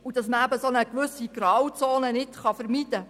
Man könne eine gewisse Grauzone nicht vermeiden.